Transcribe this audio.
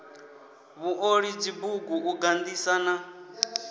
vhuoli dzibugu u gandisa na